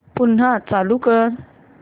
पुन्हा चालू कर